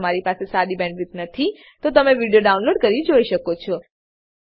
જો તમારી પાસે સારી બેન્ડવિડ્થ ન હોય તો તમે વિડીયો ડાઉનલોડ કરીને જોઈ શકો છો